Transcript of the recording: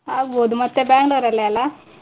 ಆಗ್ಬೋದು ಮತ್ತೆ Bangalore ಲ್ಲಿ ಅಲ್ಲಾ.